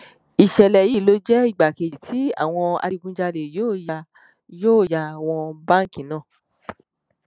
ìṣẹlẹ yìí ló jẹ ìgbà kejì tí àwọn adigunjalè yóò yá yóò yá wọn báǹkì náà